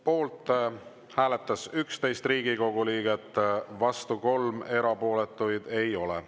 Poolt hääletas 11 Riigikogu liiget, vastu 3, erapooletuid ei ole.